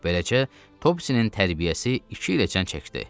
Beləcə, Topsisinin tərbiyəsi iki ilə çən çəkdi.